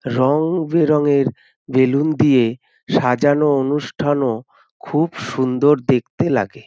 রং বেরঙের বেলুন দিয়ে সাজানো অনুষ্ঠানও খুব সুন্দর দেখতে লাগে।